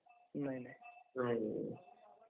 नाही ...नाही